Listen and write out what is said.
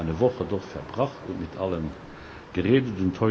Er hat eine Woche dort verbracht und mit allen geredet.